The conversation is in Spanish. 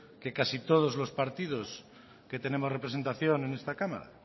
que casi todos los partidos que tenemos representación en esta cámara